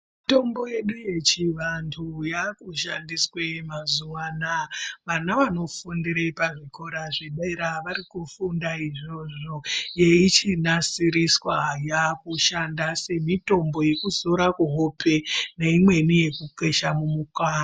Mitombo yedu yechivantu yaakushandiswe muzuva anaa. Vana vanofundire pazvikora zvedera varikufunda izvozvo yeichinasiriswa. Yaakushanda semitombo yekuzora kuhope neimweni yekukwesha mumukanwa...